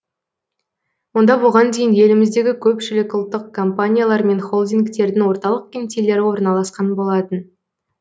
онда бұған дейін еліміздегі көпшілік ұлттық компаниялар мен холдингтердің орталық кеңселері орналасқан болатын